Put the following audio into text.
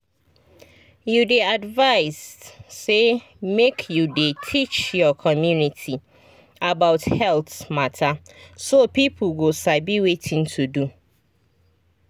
you dey advised say make you dey teach your community about health mata so people go sabi wetin to do.